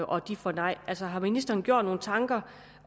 og får nej altså har ministeren gjort sig nogle tanker